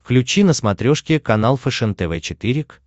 включи на смотрешке канал фэшен тв четыре к